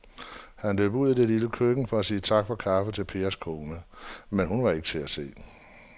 Han løb ud i det lille køkken for at sige tak for kaffe til Pers kone, men hun var ikke til at se.